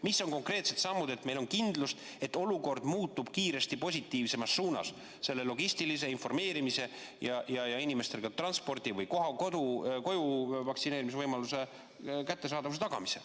Mis on konkreetsed sammud, et meil oleks kindlus, et olukord muutub kiiresti positiivsemas suunas selle logistilise informeerimise vallas ja et inimestel oleks ka transpordi- või kodus vaktsineerimise võimalus?